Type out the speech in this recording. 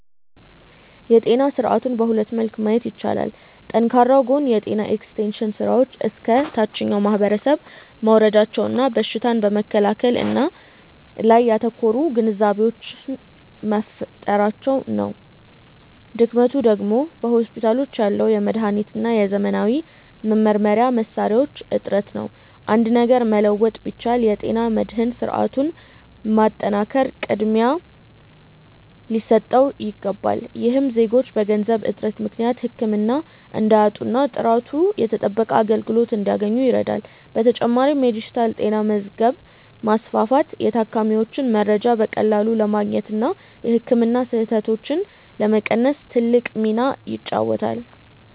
የጤና ስርዓቱን በሁለት መልክ ማየት ይቻላል። ጠንካራው ጎን የጤና ኤክስቴንሽን ስራዎች እስከ ታችኛው ማህበረሰብ መውረዳቸውና በሽታን በመከላከል ላይ ያተኮሩ ግንዛቤዎች መፈጠራቸው ነው። ድክመቱ ደግሞ በሆስፒታሎች ያለው የመድኃኒትና የዘመናዊ መመርመሪያ መሣሪያዎች እጥረት ነው። አንድ ነገር መለወጥ ቢቻል፣ የጤና መድህን ስርዓቱን ማጠናከር ቅድሚያ ሊሰጠው ይገባል። ይህም ዜጎች በገንዘብ እጥረት ምክንያት ህክምና እንዳያጡና ጥራቱ የተጠበቀ አገልግሎት እንዲያገኙ ይረዳል። በተጨማሪም የዲጂታል ጤና መዝገብ ማስፋፋት የታካሚዎችን መረጃ በቀላሉ ለማግኘትና የህክምና ስህተቶችን ለመቀነስ ትልቅ ሚና ይጫወታል።